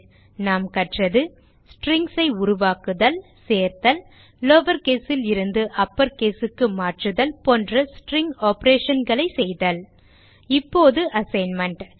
இதில் நாம் கற்றது strings ஐ உருவாக்குதல் சேர்த்தல் லவர் case லிருந்து அப்பர் caseக்கு மாற்றுதல் போன்ற ஸ்ட்ரிங் operationகளை செய்தல் இப்போது அசைன்மென்ட்